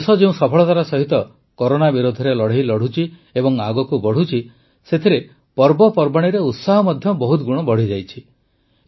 ଆମ ଦେଶ ଯେଉଁ ସଫଳତାର ସହିତ କରୋନା ବିରୋଧରେ ଲଢ଼େଇ ଲଢ଼ୁଛି ଏବଂ ଆଗକୁ ବଢ଼ୁଛି ସେଥିରେ ପର୍ବପର୍ବାଣୀରେ ଉତ୍ସାହ ମଧ୍ୟ ବହୁତ ଗୁଣ ବଢ଼ିଯାଇଛି